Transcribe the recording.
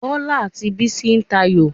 Bọlá àti Bísí ń tayò